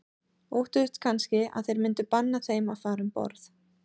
Óttuðust kannski að þeir myndu banna þeim að fara um borð.